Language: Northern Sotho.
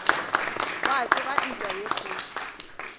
gwa tsoga ntwa ye kgolo